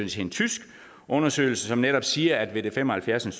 til en tysk undersøgelse som netop siger at ved det fem og halvfjerds